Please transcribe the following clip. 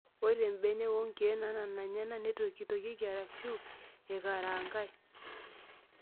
Ore mbenek wonkiek naanana enyanak neitokitokieki arashu eikarangae.